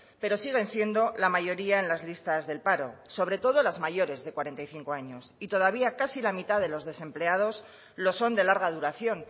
pero siguen siendo la mayoría en las listas del paro sobre todo las mayores de cuarenta y cinco años y todavía casi la mitad de los desempleados lo son de larga duración